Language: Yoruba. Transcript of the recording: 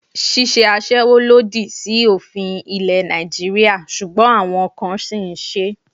Ṣíṣe isẹ aṣẹ́wó lòdì sí òfin ilẹ̀ Nàìjíríà ṣùgbọ́n àwọn kan sì ń ṣe é